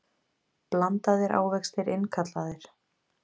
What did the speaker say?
Blandaðir ávextir innkallaðir